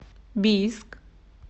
бийск